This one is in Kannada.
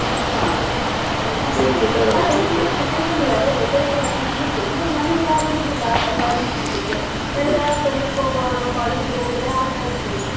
ಹ ಅಲ್ಲ ಈಗ ಇರುವ situation ಗೆ ಅದೇ better ಕೂಡ ಅನ್~ ಅನ್ನಿಸುತ್ತದೆ ಅಂದ್ರೆ ಮನೆಯಲ್ಲಿ ಯಾರು ಇರುದಿಲ್ಲ ಎಲ್ಲ arrange ಮಾಡ್ಲಿಕ್ಕೆ ಎಲ್ಲ ಕೆಲಸಕ್ಕೆ ಹೋಗುವವರು college ಗೆ ಹೋಗುವುದೇ ಆಯ್ತು.